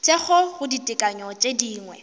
thekgo go ditekanyo tše dingwe